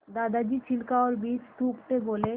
दादाजी छिलका और बीज थूकते बोले